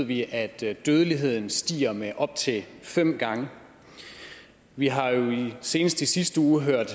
vi at dødeligheden stiger med op til fem gange vi har jo senest i sidste uge hørt